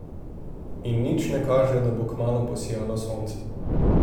In nič ne kaže, da bo kmalu posijalo sonce ...